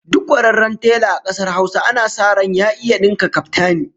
Duk kwararren tela a kasar Hausa ana sa ran ya iya dinka kaftani